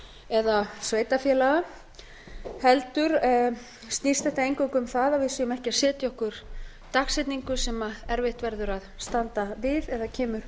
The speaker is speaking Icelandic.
eða sveitarfélaga heldur snýst þetta eingöngu um það að við séum ekki að setja okkur dagsetningu sem erfitt verður að standa við eða kemur